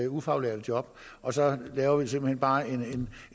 ufaglærte job og så laver vi simpelt hen bare en